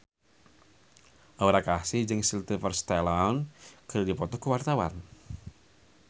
Aura Kasih jeung Sylvester Stallone keur dipoto ku wartawan